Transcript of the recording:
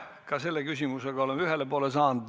Ka selle küsimusega oleme ühele poole saanud.